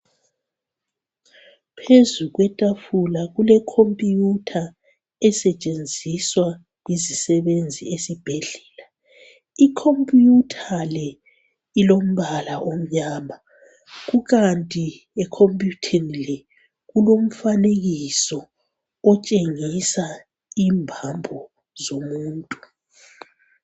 Phezu kwetafula kule khompuyutha esetshenziswa yizisebenzi esibhedlela, ikhompuyutha le ilombala omnyama kukanti ekhompuyutheni le kulomfanekiso otshengisa ibambo zomuntu.